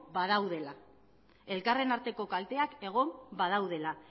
badaudela elkarren arteko kalteak egon badaudela